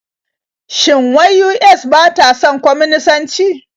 Shin wai US ba ta son kwaminisanci?